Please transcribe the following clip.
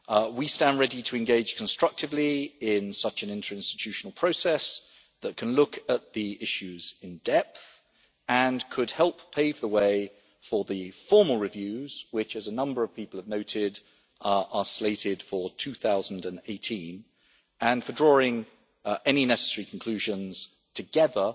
We stand ready to engage constructively in such an interinstitutional process that can look at the issues in depth and could help pave the way for the formal reviews which, as a number of people have noted, are slated for 2018 and for drawing any necessary conclusions together